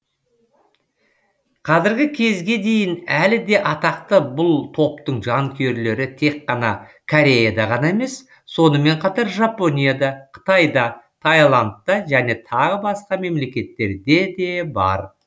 қазіргі кезге дейін әлі де атақты бұл топтың жанкүйерлері тек қана кореяда ғана емес сонымен қатар жапонияда қытайда тайландта және тағы басқа мемлекеттерде де бар